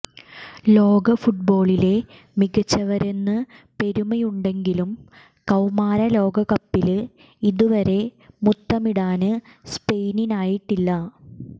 ലോക ഫുട്ബോളിലെ മികച്ചവരെന്ന് പെരുമയുണ്ടെങ്കിലും കൌമാര ലോകകപ്പില് ഇതുവരെ മുത്തമിടാന് സ്പെയിനിനായിട്ടില്ല